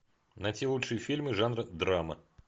найти лучшие фильмы жанра драма